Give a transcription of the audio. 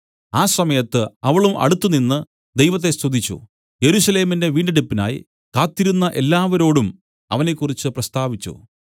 ആ സമയത്ത് അവളും അടുത്തുനിന്ന് ദൈവത്തെ സ്തുതിച്ച് യെരൂശലേമിന്റെ വീണ്ടെടുപ്പിനായി കാത്തിരുന്ന എല്ലാവരോടും അവനെക്കുറിച്ച് പ്രസ്താവിച്ചു